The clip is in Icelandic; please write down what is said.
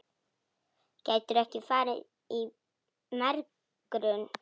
Gætirðu ekki farið í megrun?